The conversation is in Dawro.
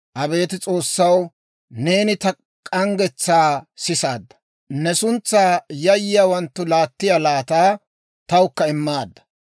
Abeet S'oossaw, neeni ta k'anggetsaa sisaadda. Ne suntsaa yayyiyaawanttu laattiyaa laataa tawukka immaadda.